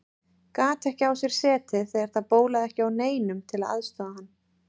Gat ekki á sér setið þegar það bólaði ekki á neinum til að aðstoða hann.